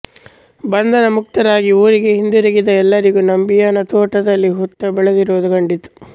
ಬಂಧನಮುಕ್ತರಾಗಿ ಊರಿಗೆ ಹಿಂದಿರುಗಿದ ಎಲ್ಲರಿಗೂ ನಂಬಿಯನ ತೋಟದಲ್ಲಿ ಹುತ್ತ ಬೆಳೆದಿರುವುದು ಕಂಡಿತ್ತು